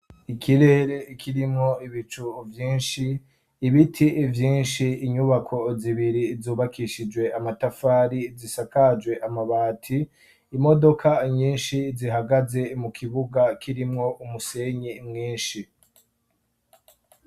ikirere kirimwo ibicu vyinshi ibiti vyinshi inyubako zibiri zubakishijwe amatafari zisakajwe amabati imodoka nyinshi zihagaze mu kibuga kirimwo umusenyi mwinshi